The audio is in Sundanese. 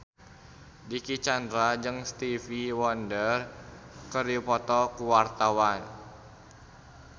Dicky Chandra jeung Stevie Wonder keur dipoto ku wartawan